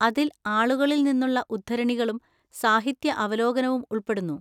അതിൽ ആളുകളിൽ നിന്നുള്ള ഉദ്ധരണികളും സാഹിത്യ അവലോകനവും ഉൾപ്പെടുന്നു.